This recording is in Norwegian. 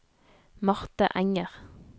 Marte Enger